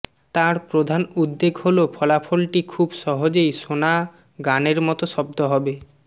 তার প্রধান উদ্বেগ হল ফলাফলটি খুব সহজেই শোনা গানের মতো শব্দ হবে